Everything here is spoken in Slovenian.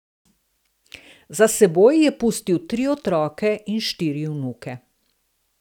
Za seboj je pustil tri otroke in štiri vnuke.